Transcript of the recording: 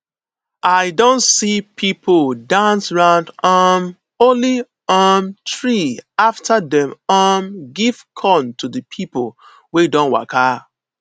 i don see people dance round um holy um tree after dem um give corn to the people wey don waka